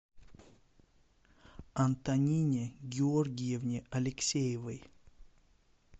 антонине георгиевне алексеевой